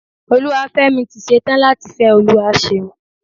Olúwafẹ́mi tí ṣe tán láti fẹ́ Olúwaṣeun.